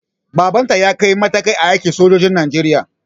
Baban ta ya ƙure matakai a aikin sojan najeriya